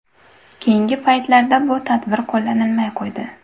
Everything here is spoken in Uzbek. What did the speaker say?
Keyingi paytlarda bu tadbir qo‘llanilmay qo‘ydi.